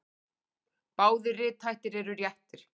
Báðir rithættir eru réttir.